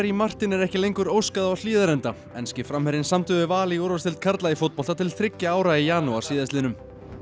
Martin er ekki lengur óskað á Hlíðarenda enski framherjinn samdi við Val í úrvalsdeild karla í fótbolta til þriggja ára í janúar síðastliðnum